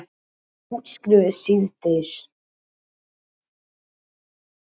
Líklega útskrifuð síðdegis